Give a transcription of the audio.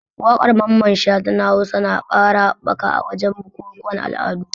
Wakar Mamman Shata na Hausa na ƙara haɓaka a wajen bukukuwan al'adu.